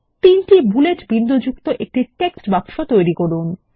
তিনটি বুলেট বিন্দুযুক্ত একটি টেক্সট বাক্স তৈরি করুন